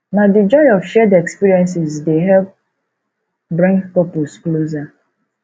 na di joy of shared experiences dey help bring couples closer